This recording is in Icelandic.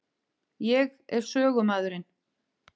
Ég er sögumaðurinn.